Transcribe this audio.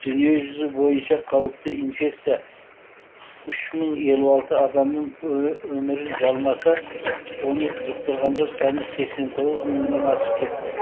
дүниежүзі бойынша қауіпті инфекция үш мың елу алты адамның өмірін жалмаса оны жұқтырғандар саны сексен тоғыз мыңнан асып кетті